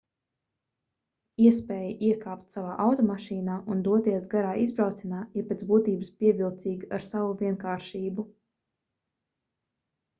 iespēja iekāpt savā automašīnā un doties garā izbraucienā ir pēc būtības pievilcīga ar savu vienkāršību